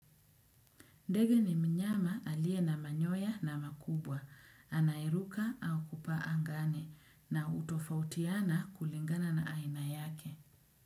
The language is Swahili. Ndege ni mnyama alie na manyoya na makubwa, anayeruka au kupaa angani na utofautiana kulingana na aina yake.